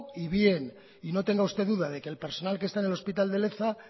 y bien y no tenga usted duda de que el personal que está en el hospital de leza